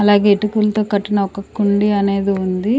అలాగే ఇటుకులతో కట్టిన ఒక కుండి అనేది ఉంది.